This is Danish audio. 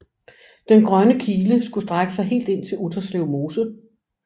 Den grønne kile skulle strække sig helt ind til Utterslev Mose